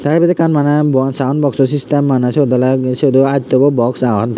te ebet ekkan mane buan sound boxso sistem mane siot olee siot do adto bo box agon.